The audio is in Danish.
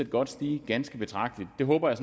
godt stige ganske betragteligt og det håber jeg